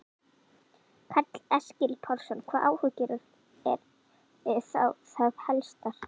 Karl Eskil Pálsson: Hvaða áhyggjur eru þá það helstar?